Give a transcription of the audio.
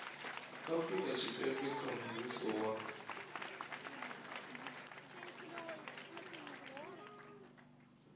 afurika tshipembe kha mushumo wa